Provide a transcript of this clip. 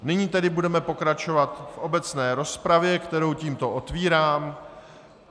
Nyní tedy budeme pokračovat v obecné rozpravě, kterou tímto otvírám.